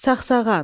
Sağsağan.